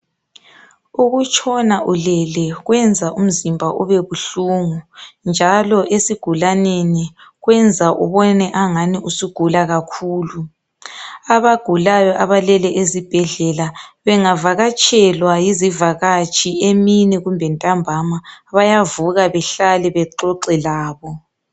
Ukutshona ulele kwenza umzimba ubebuhlungu njalo esigulaneni kwenza ubone angani usugula kakhulu. Abagulayo abalele ezibhedlela bengavakatshelwa yizivakatshi emini kumbe ntambama bayavuka behlale bexoxe labo.